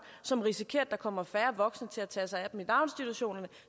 som risikerer at der kommer færre voksne til at tage sig af dem i daginstitutionerne